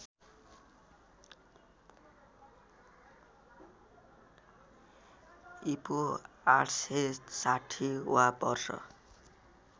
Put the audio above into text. ईपू ८६० वा वर्ष